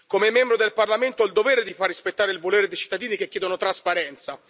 come membro del Parlamento, ho il dovere di far rispettare il volere dei cittadini che chiedono trasparenza